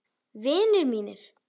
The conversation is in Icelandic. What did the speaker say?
Vinir mínir.